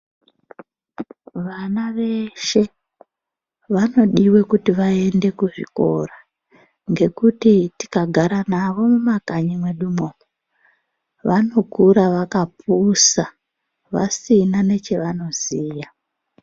Vana veshe vanodiwe kuti vaende ku zvikora ngekuti tika gara nawo mu makanyi mwedu mwo vanokura vakapusa vasina nechavano ziya.